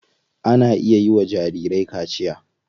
Ana iya yiwa jarirai kaciya.